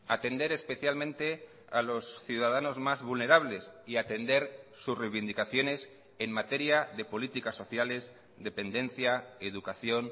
atender especialmente a los ciudadanos más vulnerables y atender sus reivindicaciones en materia de políticas sociales dependencia educación